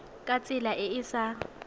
ka tsela e e sa